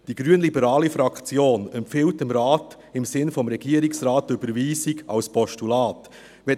Die grünliberale Fraktion empfiehlt dem Rat im Sinn des Regierungsrates die Überweisung als Postulat .